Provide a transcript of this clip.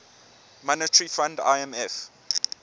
monetary fund imf